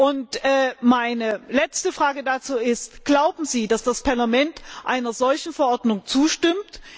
Und meine letzte Frage dazu ist Glauben Sie, dass das Parlament einer solchen Verordnung zustimmt?